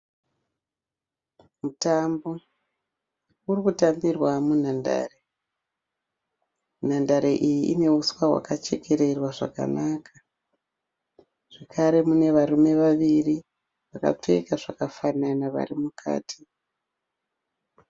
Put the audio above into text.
Mutambo uri kutambirwa munhandare. Nhandare iyi ine huswa hwakachekererwa zvakanaka zvakare pane varume vaviri vakapfeka zvakafana vari mukati.